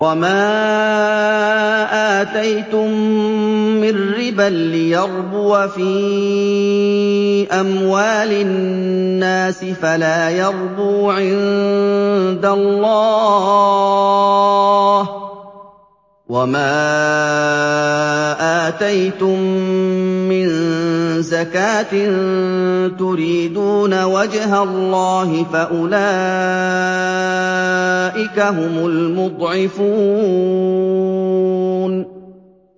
وَمَا آتَيْتُم مِّن رِّبًا لِّيَرْبُوَ فِي أَمْوَالِ النَّاسِ فَلَا يَرْبُو عِندَ اللَّهِ ۖ وَمَا آتَيْتُم مِّن زَكَاةٍ تُرِيدُونَ وَجْهَ اللَّهِ فَأُولَٰئِكَ هُمُ الْمُضْعِفُونَ